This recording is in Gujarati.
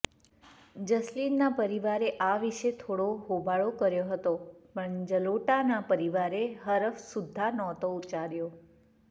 જસ્લીનના પરિવારે આ વિશે થોડો હોબાળો કર્યો હતો પણ જલોટાના પરિવારે હરફ સુધ્ધાં નહોતો ઉચ્ચાર્યો